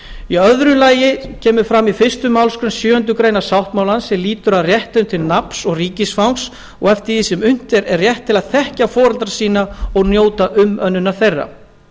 í öðru lagi kemur fram í fyrstu málsgrein sjöundu greinar sáttmálans er lýtur að réttinum til nafns ríkisfangs og eftir því sem unnt er rétt til að þekkja foreldra sína og njóta umönnunar þeirra